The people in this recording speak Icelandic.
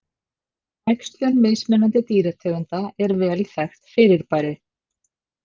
Æxlun mismunandi dýrategunda er vel þekkt fyrirbæri.